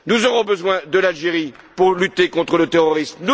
Nous aurons besoin de l'Algérie pour lutter contre le terrorisme.